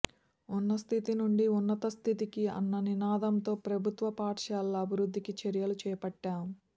ఉన్న స్థితి నుండి ఉన్నత స్థితికి అన్న నినాదంతో ప్రభుత్వ పాఠశాలల అభివృద్ధికి చర్యలు చేపట్టాం